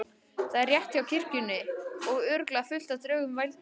Þetta er rétt hjá kirkjunni og örugglega fullt af draugum. vældi Magga.